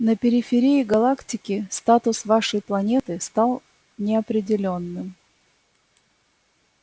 на периферии галактики статус вашей планеты стал неопределённым